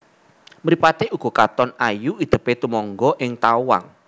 Mripaté uga katon ayu idèpé tumengga ing tawang